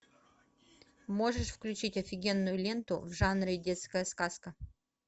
можешь включить офигенную ленту в жанре детская сказка